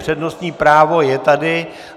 Přednostní právo je tady.